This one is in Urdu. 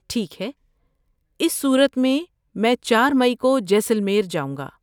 ٹھیک ہے اس صورت میں، میں چار مئی کو جیسلمیر جاؤں گا